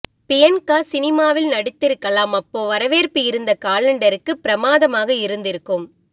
Bianca சினிமாவில் நடித்திருக்கலாம் அப்போ வரவேற்பு இந்த காலெண்டருக்கு பிரமாதமாக இருந்திருக்கும்